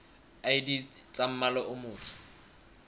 id tsa mmala o motsho